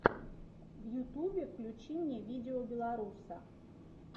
в ютубе включи мне видеобеларуса